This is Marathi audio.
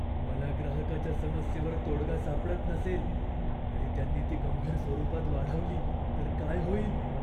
मला ग्राहकाच्या समस्येवर तोडगा सापडत नसेल आणि त्यांनी ती गंभीर स्वरूपात वाढवली तर काय होईल?